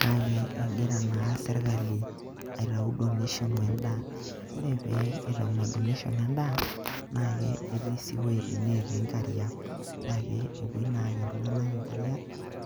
kake egira naa sirkali aitau donation endaa, ore sii egira aitau ina donation endaa, etisii iwoitin natii nkariak. Naake epuoi naa aaki iltung'anak nkariak